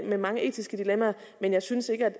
med mange etiske dilemmaer men jeg synes ikke at